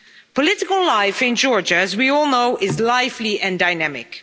Political life in Georgia, as we all know, is lively and dynamic.